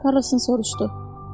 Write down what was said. Karlsonu soruşdu.